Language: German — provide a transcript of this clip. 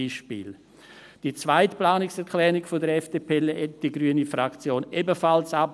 Die zweite Planungserklärung der FDP lehnt die grüne Fraktion ebenfalls ab.